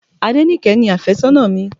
Adenike ni afésónà mi.